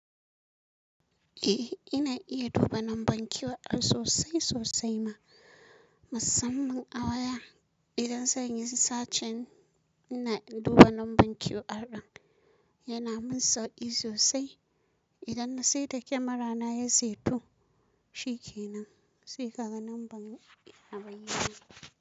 Eh, ina iya duba lambar QR sosai sosai ma. Masan man a waya idan zan yi sacen na duba lambar QR ɗin. Yana min sauƙi sosai idan na sai ta kyamarana ya saito. Shi ke nan, sai ka ga lambar a bayane.